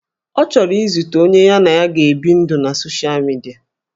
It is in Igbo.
Ọ chọrọ izute onye ya na ya ga-ebi ndụ na soshal midia